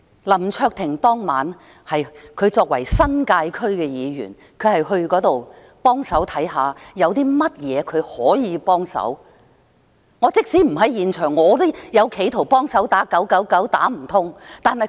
林卓廷作為新界區議員，當晚他到現場看看有甚麼可以幫忙，我即使不在現場，我也企圖幫忙打 999， 可惜打不通。